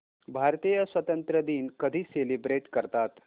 भारतीय स्वातंत्र्य दिन कधी सेलिब्रेट करतात